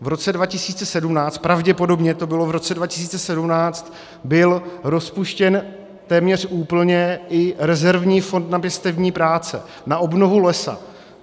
V roce 2017, pravděpodobně to bylo v roce 2017, byl rozpuštěn téměř úplně i rezervní fond na pěstební práce, na obnovu lesa.